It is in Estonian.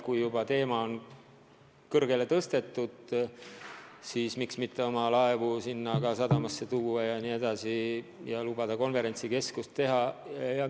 Kui juba teema on üles tõstetud, siis miks mitte omagi laevu sinna sadamasse tuua ja lubada konverentsikeskust teha jne.